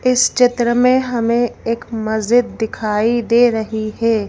इस चित्र में हमें एक मस्जिद दिखाई दे रही है।